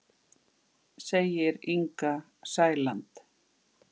Segir Inga Sæland.